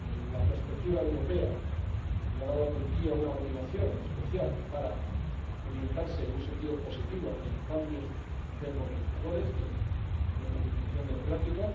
La perspectiva europea le ha dado a Turquía una motivación especial para orientarse, en un sentido positivo, hacia cambios democratizadores, de profundización democrática.